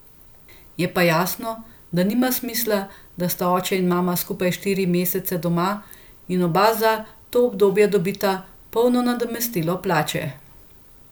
Je pa jasno, da nima smisla, da sta oče in mama skupaj štiri mesece doma in oba za to obdobje dobita polno nadomestilo plače.